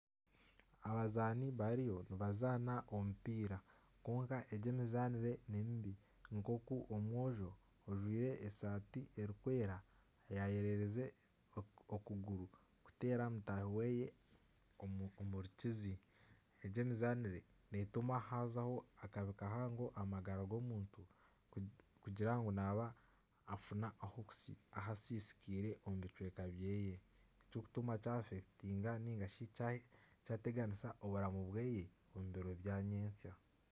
Abazaani bariyo nibazaana omupiira kwonka egi emizanire nimibi nk'oku omwojo ojwire esaati erikwera yayererize okuguru kuteera mutaahi ye omurukizi. Egi emizaanire neetuma hazaho akabi kahango aha magara g'omuntu kugira ngu nafuna ahasisikaire omu bicweka bye ekikutuma kyateganisa amagara ge omu biro bya nyentsya.